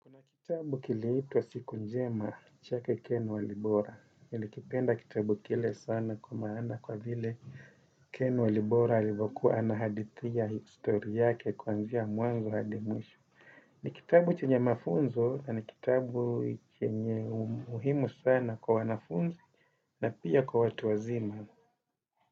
Kuna kitabu kiliitwa Siku Njema, chake Ken Walibora. Nilikipenda kitabu kile sana kwa maana kwa vile Ken Walibora halivyokuwa anahadhitia histori yake kwanzia mwanzo hadi mwisho. Ni kitabu chenye mafunzo, na ni kitabu chenye umuhimu sana kwa wanafunzi na pia kwa watu wazima.